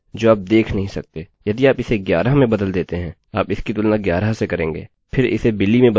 हम कभी भी 11 का मान नहीं देख सकते यह केवल एक भीतरी तुलना है